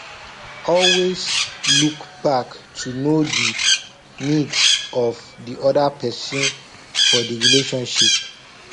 always look back to know di needs of di oda person for di relationship